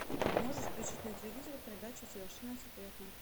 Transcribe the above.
можешь включить на телевизоре передачу совершенно секретно